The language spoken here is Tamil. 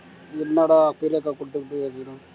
என்னடா அக்கா குடுத்துருக்கு அப்படின்னா